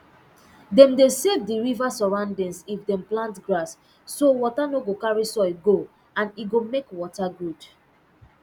dem dey save d river surroundings if dem plant grass so water no go carry soil go and e go make water good